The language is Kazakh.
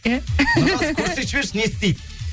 иә нұрғазы көрсетіп жіберші не істейді